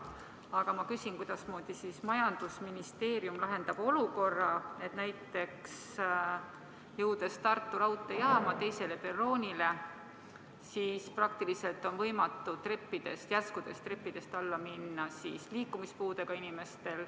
Aga kuidasmoodi majandusministeerium lahendab olukorra, et Tartu raudteejaama teiselt perroonilt on liikumispuudega inimestel praktiliselt võimatu järskudest treppidest alla minna.